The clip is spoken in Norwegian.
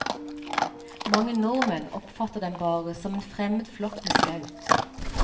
Mange nordmenn oppfatter dem bare som en fremmed flokk med skaut.